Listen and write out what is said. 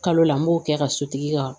Kalo la n b'o kɛ ka sotigi ka